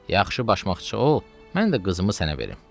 Yaxşı başmaqçı ol, mən də qızımı sənə verim.